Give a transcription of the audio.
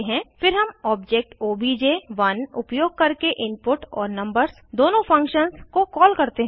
फिर हम object OBJ one उपयोग करके इनपुट और नंबर्स दोनों फंक्शन्स को कॉल करते हैं